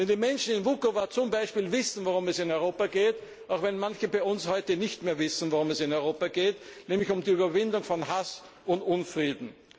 Denn die Menschen in Vukovar wissen, worum es in Europa geht, während manche bei uns heute nicht mehr wissen, worum es in Europa geht, nämlich um die Überwindung von Hass und Unfrieden.